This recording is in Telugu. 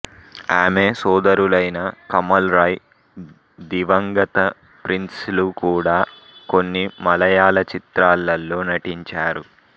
ఆమె సోదరులైన కమల్ రాయ్ దివంగత ప్రిన్స్ లు కూడా కొన్ని మలయాళ చిత్రాలలో నటించారు